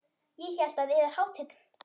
Ég hélt að yðar hátign.